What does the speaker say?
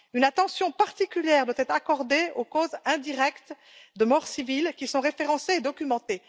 Une attention particulière doit être accordée aux causes indirectes de décès de civils, qui sont référencés et documentés.